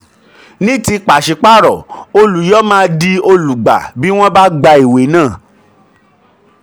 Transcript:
ní ti ìwé pàṣípààrọ̀ olùyọ máa di olùgbà bí wọ́n bá gba ìwé náà.